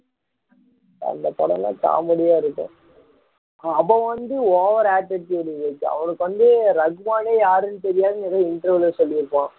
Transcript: அந்த படம் எல்லாம் comedy யா இருக்கும் அவன் வந்து over attitude விவேக் அவனுக்கு வந்து ரஹ்மானே யார் என்று தெரியாதுன்னு ஒரு interview ல சொல்லி இருப்பான்